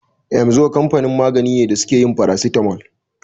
Emzor kamfanin magani ne da suke yin farasitamol.